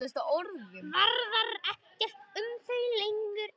Varðar ekkert um þau lengur.